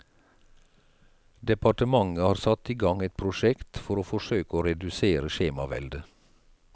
Departementet har satt i gang et prosjekt for å forsøke å redusere skjemaveldet.